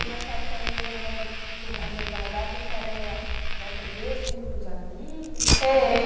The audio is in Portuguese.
Mas nessa época, ainda em Governana Governador Valadares, a senhora, nessa igreja, tinha um grupo de amigos? é...